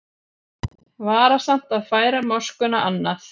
Varasamt að færa moskuna annað